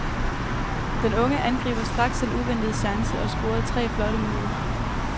Den unge angriber straks den uventede chance og scorede tre flotte mål.